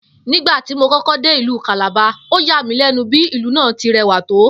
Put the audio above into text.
Nígbà tí mo kó̩kó̩ dé ìlú Calabar, ó yà mí lé̩nu bí ìlú náà ti re̩wà tó